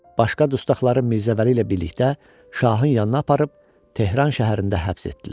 Başqa dustaqları Mirzə Vəli ilə birlikdə şahın yanına aparıb Tehran şəhərində həbs etdilər.